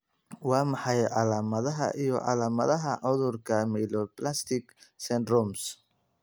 Waa maxay calaamadaha iyo calaamadaha cudurka Myelodysplastic syndromes?